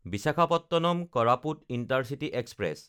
Visakhapatnam-Koraput intercity express